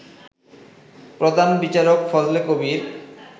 প্রধান বিচারক ফজলে কবীর